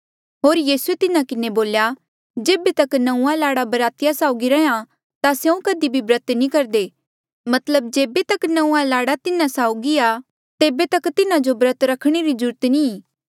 होर यीसूए तिन्हा किन्हें बोल्या जेबे तक नंऊँआं लाड़ा बरातिया साउगी रैंहयां ता स्यों कधी भी ब्रत नी करदे मतलब जेबे तक नंऊँआं लाड़ा तिन्हा साउगी आ तेबे तक तिन्हा जो ब्रत रखणे री कोई ज्रूरत नी ई